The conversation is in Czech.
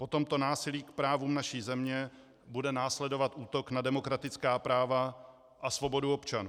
Po tomto násilí k právům naší země bude následovat útok na demokratická práva a svobodu občanů.